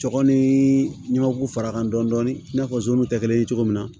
Cɔkɔ ni ɲamaku fara kan dɔndɔni i n'a fɔ zonw tɛ kelen ye cogo min na